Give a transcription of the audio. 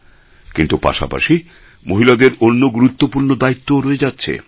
কিন্তু পাশাপাশি মহিলাদের অন্য গুরুত্বপূর্ণ দায়িত্বও রয়ে যাচ্ছে